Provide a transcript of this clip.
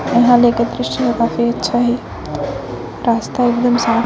ईहा ले के दृश्य काफी अच्छा हे रास्ता एकदम साफ़--